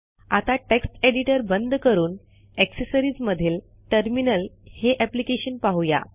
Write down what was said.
आता text editor बंद करून अॅक्सेसरिजमधील टर्मिनल हे अॅप्लिकेशन पाहू या